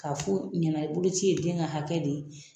K'a fɔ u ɲɛna ko boloci ye den ka hakɛ de ye